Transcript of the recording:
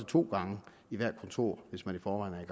to gange i hvert kontor hvis man i forvejen